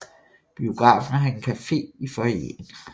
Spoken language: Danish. Biografen har en café i foyeren